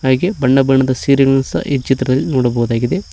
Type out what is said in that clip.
ಹಾಗೆ ಬಣ್ಣ ಬಣ್ಣದ ಸೀರೆಗಳನ್ನು ಸಹ ಈ ಚಿತ್ರದಲ್ಲಿ ಕಾಣಬಹುದಾಗಿದೆ.